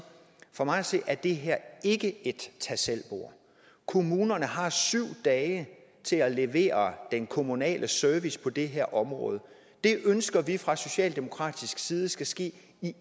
for mig at se er det her ikke et tag selv bord kommunerne har syv dage til at levere den kommunale service på det her område det ønsker vi fra socialdemokratisk side skal ske i